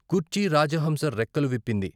కుర్చీ రాజహంస రెక్కలు విప్పింది.